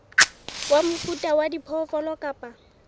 wa mofuta wa diphoofolo kapa